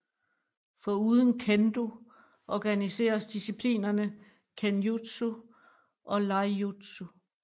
Foruden Kendo organiseres disciplinerne Kenjutsu og Iaijutsu